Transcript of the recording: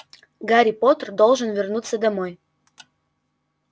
гарри поттер должен вернуться домой